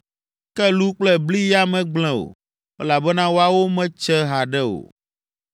ke lu kple bli ya megblẽ o, elabena woawo metse haɖe o.)